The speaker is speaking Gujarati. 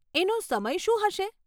એનો સમય શું હશે?